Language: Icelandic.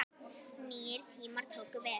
Nýir tímar tóku við.